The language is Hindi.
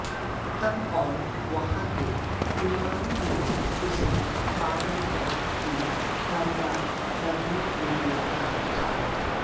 तब और वहाँ के इमाम ने उसे पागलपन की कार्रवाई करने के लिए कहा था